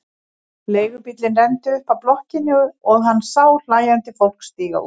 Leigubíll renndi upp að blokkinni og hann sá hlæjandi fólk stíga út.